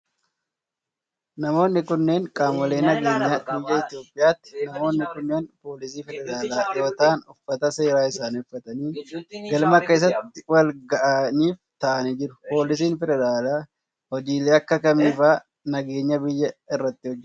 Namoonni kunneen, qaamolee nageenyaa biyya Itoophiyaati. Namoonni kunneen, poolisii federaalaa yoo ta'an ,uffata seeraa isaanii uffatanii galma keessatti wal gahiif ta'anii jiru. Poolisiin federaalee, hojiilee akka kamii faa nageenya biyyaa irratti hojjata?